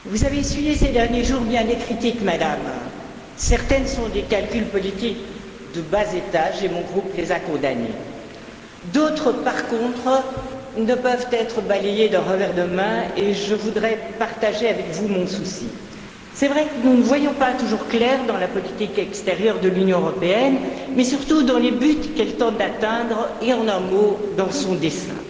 Madame la Présidente, Madame la Haute représentante, vous avez essuyé ces derniers jours bien des critiques, Madame, certaines sont des calculs politiques de bas étage et mon groupe les a condamnées. D'autres, par contre, ne peuvent être balayées d'un revers de main et je voudrais partager avec vous mon souci. Il est vrai que nous ne voyons pas toujours clair dans la politique extérieure de l'Union européenne, mais surtout dans les buts qu'elle tente d'atteindre et, en un mot, dans son dessein.